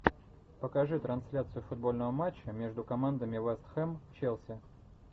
покажи трансляцию футбольного матча между командами вест хэм челси